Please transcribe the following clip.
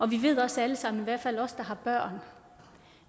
vi ved også alle sammen i hvert fald os der har børn